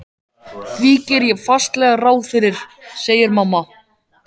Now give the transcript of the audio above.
Því geri ég fastlega ráð fyrir, segir mamma.